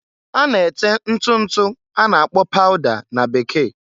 A na-ete ntụ ntụ a na-akpọ -pauda na Bekee.